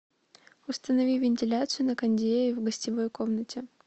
установи вентиляцию на кондее в гостевой комнате